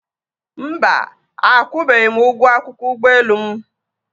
Mba, akwụbeghị m ụgwọ akwụkwọ ụgbọelu m